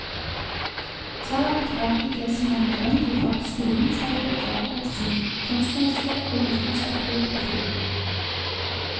Ta tak i det som er nødvendig for at skolen skal bevare sin kunstneriske og vitenskapelige profil.